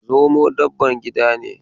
Zomo dabban gida ne.